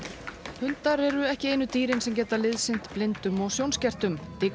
hundar eru ekki einu dýrin sem geta liðsinnt blindum og sjónskertum